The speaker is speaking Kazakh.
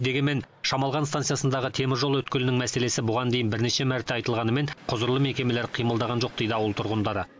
дегенмен шамалған станциясындағы теміржол өткелінің мәселесі бұған дейін бірнеше мәрте айтылғанымен құзырлы мекемелер қимылдаған жоқ дейді ауыл тұрғындары